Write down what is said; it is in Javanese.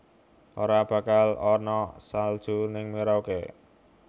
Ora bakal ana salju ning Merauke